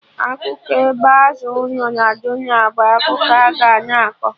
Akụkọ ebe Azụ no Jonah bụ akụkọ a-ga na akọ